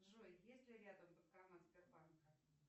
джой есть ли рядом банкомат сбербанка